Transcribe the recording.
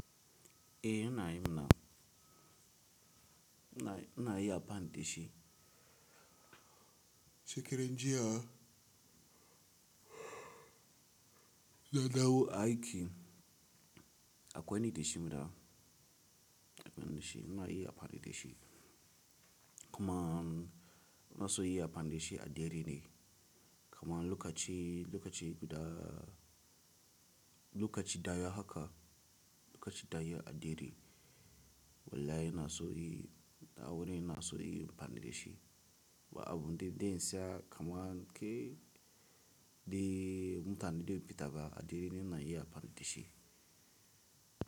Eh ina yi na, ina yi abin da shi. Shekaran jiya, nadawo aiki akwai wani da shi muna, akwai wani da shi muna yi amfani da shi. Kuma na so yi abin da shi a dare ne. Kaman lokaci, lokaci guda, lokaci daya haka, lokaci daya a dare. Wallahi ina so yi, da aure ina so yi amfani da shi. Ba abun da dai sa kamanke dai mutane da sun fita ba a dare ne na yi abin da shi.